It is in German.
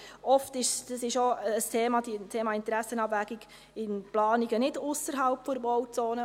Oft ist es aber ein Thema – das Thema Interessenabwägung – bei Planungen nicht ausserhalb der Bauzone.